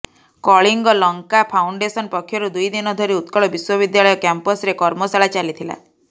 Kalinga Lanka foundation ପକ୍ଷରୁ ଦୁଇଦିନ ଧରି ଉତ୍କଳ ବିଶ୍ୱବିଦ୍ୟାଳୟ କ୍ୟାମ୍ପସରେ କର୍ମଶାଳା ଚାଲିଥିଲା